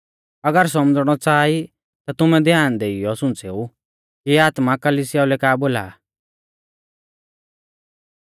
अगर सौमझ़णौ च़ाहा ई ता तुमै ध्याना देइयौ सुंच़ेऊ कि आत्मा कलिसियाऊ लै का बोला आ